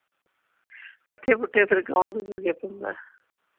ਪੱਠੇ ਪੁੱਠੇ ਫੇਰ ਕੌਣ ਕੁਤਰ ਕੇ ਪਾਉਂਦਾ ।